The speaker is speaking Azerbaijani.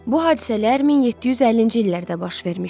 Bu hadisələr 1750-ci illərdə baş vermişdi.